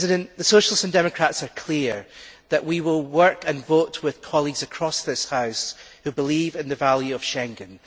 The Socialists and Democrats are clear that we will work and vote with colleagues across this House who believe in the value of Schengen.